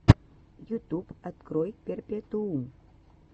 ютюб открой перпетуум